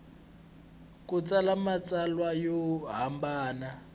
ku tsala matsalwa yo hambana